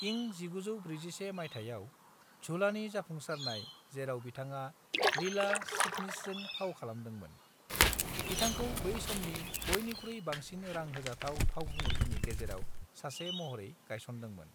इं 1941 माइथायाव झूलानि जाफुंसारनाय, जेराव बिथाङा लीला चिटनिसजों फाव खालामदोंमोन, बिथांखौ बै समनि बयनिख्रुइ बांसिन रां होजाथाव फावखुंगुरफोरनि गेजेराव सासे महरै गायसनदोंमोन।